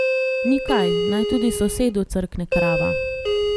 Ni kaj, naj tudi sosedu crkne krava.